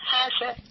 হ্যাঁ স্যার